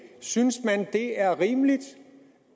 synes man at det er rimeligt